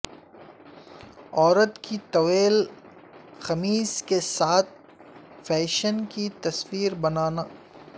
عورت کی طویل قمیض کے ساتھ فیشن کی تصویر بنانا